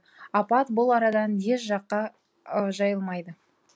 апат бұл арадан еш жаққа жайылмайды